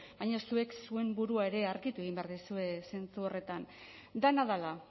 baina zuek zuen burua ere argitu egin behar duzue zentzu horretan dena dela